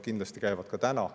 Kindlasti käivad ka täna.